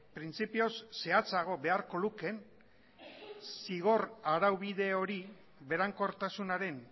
printzipioz zehatzago beharko lukeen berankortasunaren